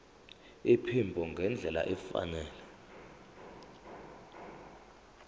iphimbo ngendlela efanele